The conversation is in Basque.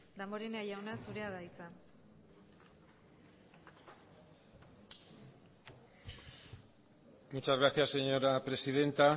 damborenea jauna zurea da hitza muchas gracias señora presidenta